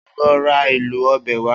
O óò lo̩ ra èlò o̩bè̩ wá!